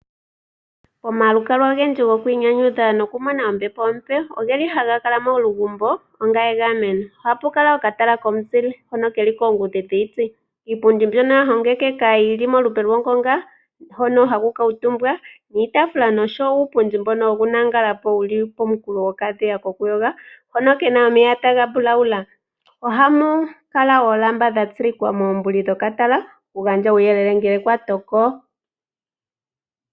Omalukalwa ogendji goku inyanyudha nokumona ombepo ompe ohaga kala momalugumbo onga egameno. Ohapu kala okatala komuzile hono ke li koongudhi dhiiti. Iipundi mbyono ya hongekeka yi li molupe lwongonga, hono haku kuutumbwa, niitaafula nosho wo uupundi mbono wokulala po wu li pooha dhokadhiya kokuyoga, hono ke na omeya taga mbulaula. Ohamu kala oolamba dha tsilikwa moombuli dhokatala okugandja uuyelele ngele kwa toko.